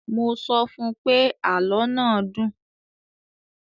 Mo sọ fún pé, àlọ́ náà dùn.